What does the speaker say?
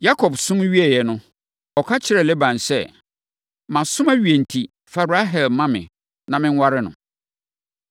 Yakob som wieeɛ no, ɔka kyerɛɛ Laban sɛ, “Masom awie enti, fa Rahel ma me na menware no.”